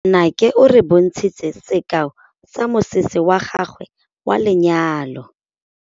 Nnake o re bontshitse sekaô sa mosese wa gagwe wa lenyalo.